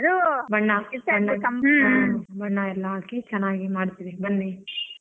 ಬಣ್ಣ ಎಲ್ಲ ಹಾಕಿ ಚೆನ್ನಾಗಿ ಮಾಡ್ತೀವಿ ಬನ್ನಿ .